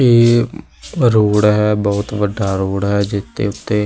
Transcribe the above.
ਇਹ ਰੋਡ ਹੈ ਬਹੁਤ ਵੱਡਾ ਰੋਡ ਹੈ ਜਿੱਥੇ ਉੱਤੇ --